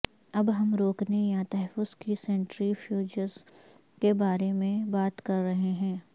اب ہم روکنے یا تحفظ کی سنٹری فیوجز کے بارے میں بات کر رہے ہیں